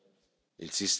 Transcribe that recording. il sistema.